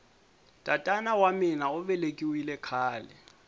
tatara wa mina uvelekiwile khale